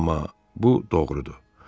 Amma bu doğrudur.